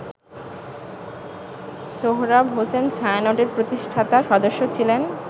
সোহরাব হোসেন ছায়ানটের প্রতিষ্ঠাতা সদস্য ছিলেন।